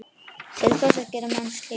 Til hvers gera menn slíkt?